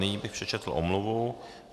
Nyní bych přečetl omluvu.